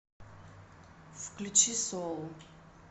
включи соул